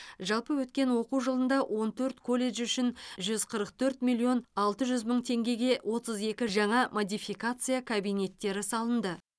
жалпы өткен оқу жылында он төрт колледж үшін жүз қырық төрт миллион алты жүз мың теңгеге отыз екі жаңа модификация кабинеттері салынды